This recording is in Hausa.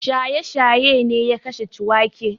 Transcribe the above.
Shaye-shaye ne ya kashe Ciwake.